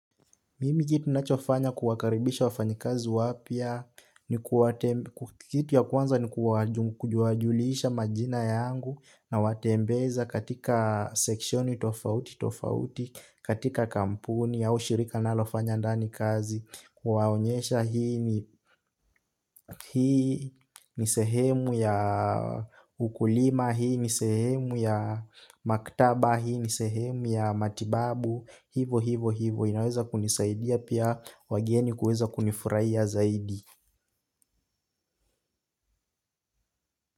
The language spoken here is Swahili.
Mimi kitu ninachofanya kuwakaribisha wafanyikazi wapya, kitu ya kwanza ni kuwajulisha majina yangu nawatembeza katika sekshoni tofauti tofauti, katika kampuni au shirika nalofanya ndani kazi. Kuwaonyesha hii ni sehemu ya ukulima hii ni sehemu ya maktaba hii ni sehemu ya matibabu. Hivo hivo hivo inaweza kunisaidia pia wageni kuweza kunifurahia ya zaidi.